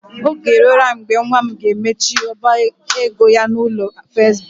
Oge eruola mgbe nwa m ga-emechi ọba ego ya n'ụlọ akụ First Bank.